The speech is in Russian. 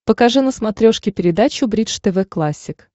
покажи на смотрешке передачу бридж тв классик